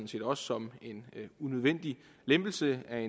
set også som en unødvendig lempelse af